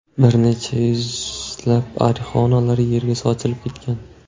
Bir necha yuzlab arixonalar yerga sochilib ketgan.